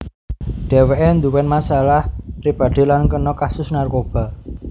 Dheweke nduwén masalah pribadi lan kena kasus narkoba